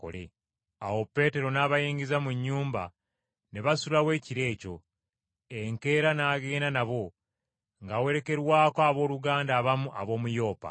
Awo Peetero n’abayingiza mu nnyumba ne basulawo ekiro ekyo. Enkeera n’agenda n’abo ng’awerekerwako abooluganda abamu ab’omu Yopa.